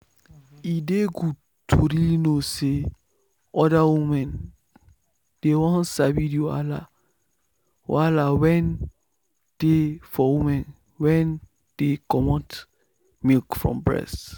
e dey good to really know say other women dey won sabi the wahala wahala wen dey for women wen dey comot milk from breast.